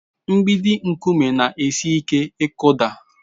Mgbidi nkume na-esi ike ịkụda.